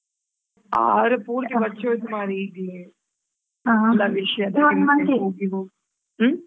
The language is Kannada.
ಆದ್ರೆ ಪೂರ್ತಿ ಬಚ್ಚಿ ಹೋಯ್ತು ಮಾರೈ ಈಗ್ಲೇ .